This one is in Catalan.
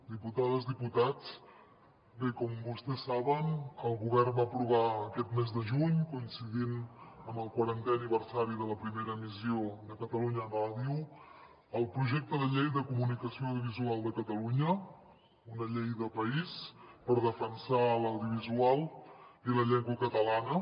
diputades diputats bé com vostès saben el govern va aprovar aquest mes de juny coincidint amb el quarantè aniversari de la primera emissió de catalunya ràdio el projecte de llei de comunicació audiovisual de catalunya una llei de país per defensar l’audiovisual i la llengua catalana